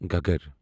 Ghaggar